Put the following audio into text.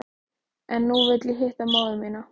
En nú vil ég hitta móður mína.